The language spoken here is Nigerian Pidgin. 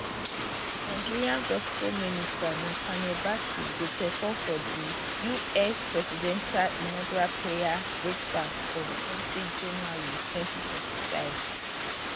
nigerian gospel minister nathaniel bassey go perform for di us presidential inaugural prayer breakfast ontwentyjanuary 2025